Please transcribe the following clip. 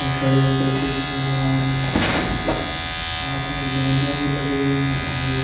खड़े होकर के पिक्स बनवा रहे है उनके हाथ में बैनर्स लगे हुए है कुछ लोग।